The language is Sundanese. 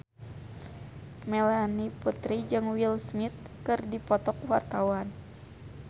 Melanie Putri jeung Will Smith keur dipoto ku wartawan